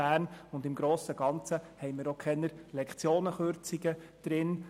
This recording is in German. Im grossen Ganzen haben wir auch keine Kürzungen der Lektionen;